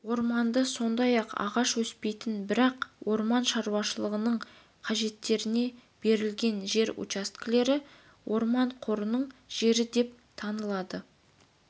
орманды сондай-ақ ағаш өспеген бірақ орман шаруашылығының қажеттеріне берілген жер учаскелер орман қорының жері деп танылады